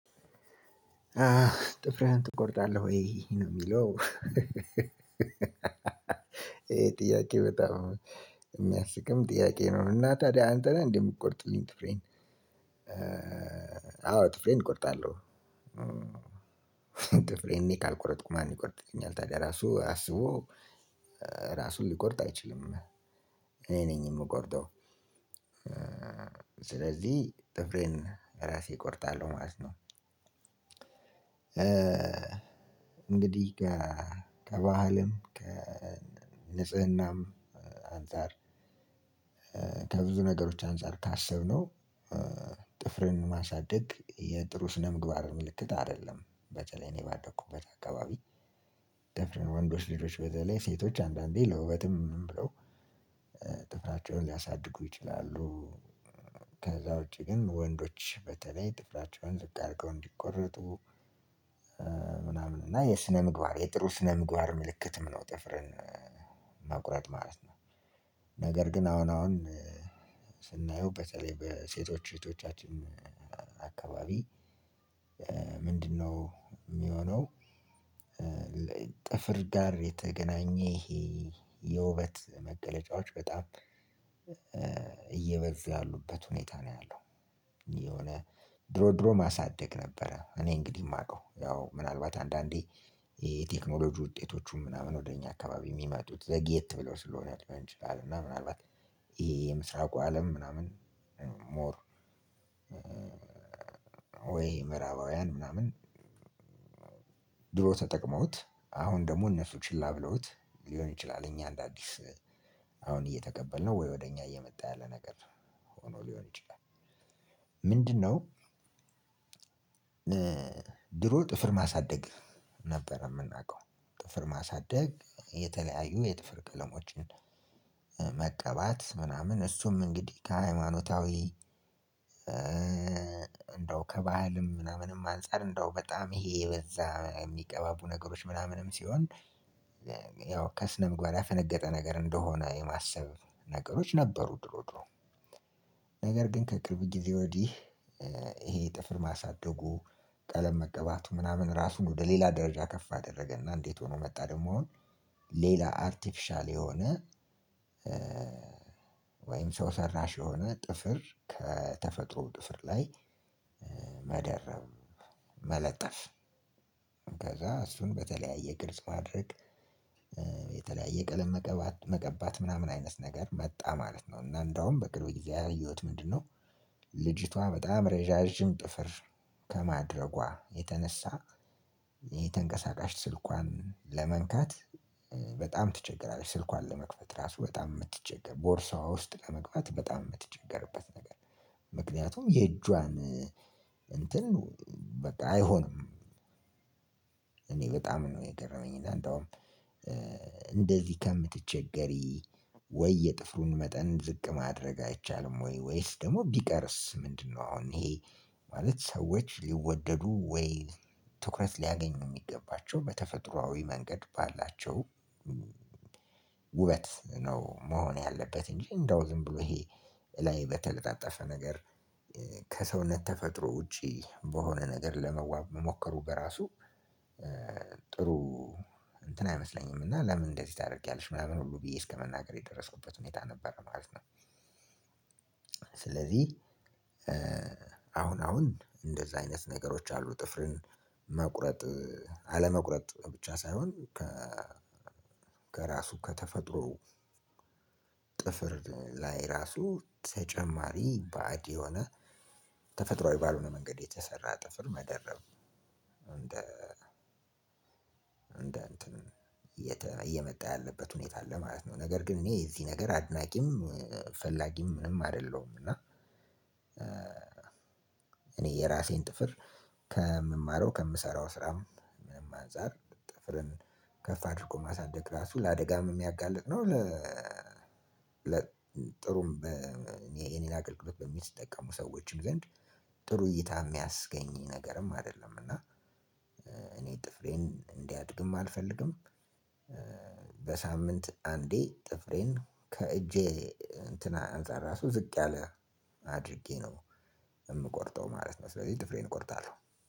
"ጥፍርህን ትቆርጣለህ ወይ?" ነው የሚለው። ጥያቄው በጣም የሚያስቅም ጥያቄ ነው እና ታዲያ አንተ ነህ እንዴ የምትቆርጥልኝ ጥፍሬን። አዎ ጥፍሬን እቆርጣለሁ። ጥፍሬን እኔ ካልቆረጥኩ ማን ይቆርጥኛል ታዲያ። ራሱ አስቦ ራሱን ሊቆርጥ አይችልም፤ እኔ ነኝ የምቆርጠው። ስለዚህ ጥፍሬን አራሴ እቆርጣለሁ ማለት ነው። እንግዲህ ከ ከባህልም ከንጽህናም አንፃር ከብዙ ነገሮች አንፃር ካሰብነው ጥፍርን ማሳደግ የጥሩ ስነምግባር ምልክት አይደለም በተለይ እኔ ባደኩበት አካባቢ ጥፍረን ወንዶች ልጆች በተለይ ሴቶች አንዳንዴ ለውበትም ምን ብለው ጥፍራቸውን ሊያሳድጉ ይችላሉ። ከዛ ውጪ ግን ወንዶች በተለይ ጥፍራቸውን ዝቅ ኣርገው እንዲቆረጡ ምናምን እና የስነ ምግባር የጥሩ ስነ ምግባር ምልክትም ነው ጥፍርን መቁረጥ ማለት ነው። ነገር ግን አሁን አሁን ስናየው በተለይ በሴቶች እህቶቻችን አካባቢ ምንድነው የሚሆነው ጥፍር ጋር የተገናኘ ይሄ የውበት መገለጫዎች በጣም እየበዙ ያሉበት ሁኔታ ነው ያለው። የሆነ ድሮ ድሮ ማሳደግ ነበረ እኔ እንግዲህ የማውቀው ያው ምናልባት አንዳንዴ የቴክኖሎጂ ውጤቶቹም ምናምን ወደ እኛ አካባቢ የሚመጡት ዘግየት ብለው ስለሆነ ሊሆን ይችላል እና ምናልባት ይሄ የምስራቁ አለም ምናምን ሞር ወይ ምዕራባውያን ምናምን ድሮ ተጠቅመውት አሁን ደግሞ እነሱ ችላ ብለውት ሊሆን ይችላል እኛ አንደ አዲስ አሁን እየተቀበልነው ወይ ወደ እኛ እየመጣ ያለ ነገር ሆኖ ሊሆን ይችላል። ምንድነው ድሮ ጥፍር ማሳደግ ነበር የምናውቀው ጥፍር ማሳደግ የተለያዩ የጥፍር ቀለሞችን መቀባት ምናምን አሱም አንግዲህ ከሃይማኖታዊ አንደው ከባህልም ምናምንም ኣንጻር አንደው በጣም ይሄ የበዛ የሚቀባቡ ነገሮች ምናምንም ሲሆን ያው ከስነ ምግባር ያፈነገጠ ነገር እንደሆነ የማሰብ ነገሮች ነበሩ ድሮ ድሮ። ነገር ግን ከቅርብ ጊዜ ወዲህ ይሄ ጥፍር ማሳደጉ ቀለም መቀባቱ ምናምን ራሱን ወደ ሌላ ደረጃ ከፍ አደረገና እንዴት ሆኖ መጣ ደግሞ አሁን ሌላ አርቲፊሻል የሆነ ወይም ሰው ሰራሽ የሆነ ጥፍር ከተፈጥሮው ጥፍር ላይ መደረብ፣ መለጠፍ። ከዛ እሱን በተለያየ ቅርጽ ማድረግ የተለያየ ቀለም መቀባ መቀባት ምናምን አይነት ነገር መጣ ማለት ነው እና እንደውም በቅርብ ያየሁት ምንድነው? ልጅቷ በጣም ረዣዥም ጥፍር ከማድረጓ የተነሳ የተንቀሳቃሽ ስልኳን ለመንካት በጣም ትቸገራለች ስልኳን ለመክፈት ራሱ በጣም የምትቸገር ቦርሳዋ ውስጥ ለመግባት በጣም የምትቸገርበት ነገር ምክንያቱም የእጇን እንትን በቃ አይሆንም። እኔ በጣም ነው የገረመኝ እና እንደውም እንደዚህ ከምትቸገሪ ወይ የጥፍሩን መጠን ዝቅ ማድረግ አይቻልም ወይ ወይስ ደግሞ ቢቀርስ ምንድነው አሁን ይሄ ማለት ሰዎች ሊወደዱ ወይ ትኩረት ሊያገኙ የሚገባቸው በተፈጥሯዊ መንገድ ባላቸው ውበት ነው መሆን ያለበት፤ እንጂ እንደው ዝም ብሎ ይሄ ላይ በተለጣጠፈ ነገር ከሰውነት ተፈጥሮ ውጪ በሆነ ነገር ለመዋብ መሞከሩ በራሱ ጥሩ እንትን አይመስለኝም እና ለምን እንደዚህ ታደርጊያለሽ ምናምን ሁሉ ብዬ እስከመናገር የደረስኩበት ሁኔታ ነበረ ማለት ነው። ስለዚህ አሁን አሁን እንደዛ አይነት ነገሮች አሉ ጥፍርን መቁረጥ አለመቁረጥ ብቻ ሳይሆን ከ ከራሱ ከተፈጥሮ ጥፍር ላይ ራሱ ተጨማሪ ባዕድ የሆነ ተፈጥሯዊ ባልሆነ መንገድ የተሰራ ጥፍር መደረብ እንደ እንደ እንትን እየተ እየመጣ ያለበት ሁኔታ አለ ማለት ነው፤ ነገር ግን እኔ የዚህ ነገር አድናቂም ፈላጊም ምንም አይደለሁም እና እኔ የራሴን ጥፍር ከምማረው ከምሰራው ስራም ምንም አንፃር ጥፍርን ከፍ አድርጎ ማሳደግ ራሱ ለአደጋም የሚያጋልጥ ነው፣ ለ ነው ለ ጥሩም የእኔን አገልግሎት በሚጠቀሙ ሰዎች ዘንድ ጥሩ እይታ የሚያስገኝ ነገርም አይደለም እና እኔ ጥፍሬን እንዲያድግም አልፈልግም በሳምንት አንዴ ጥፍሬን ከእጄ እንትን አንፃር ራሱ ዝቅ ያለ አድርጌ ነው የምቆርጠው ማለት ነው። ስለዚህ ጥፍሬን እቆርጣለሁ።